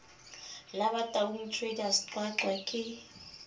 la bataung traders qwaqwa ke